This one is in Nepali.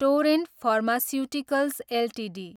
torrent Pharmaceuticals Ltd